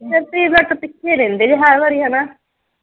ਫੇਰ ਤੁਸੀਂ ਮੇਰੇ ਤੋਂ ਪਿੱਛੇ ਰਹਿੰਦੇ ਜੇ ਹਰ ਵਾਰੀ ਹਣਾ।